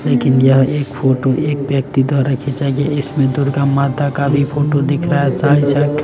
लेकिन यह एक फोटो एक व्यक्ति द्वारा खींचा गया इसमें दुर्गा माता का भी फोटो दिख रहा है साईं सा--